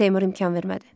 Seymur imkan vermədi.